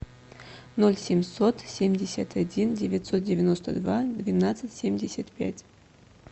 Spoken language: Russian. ноль семьсот семьдесят один девятьсот девяносто два двенадцать семьдесят пять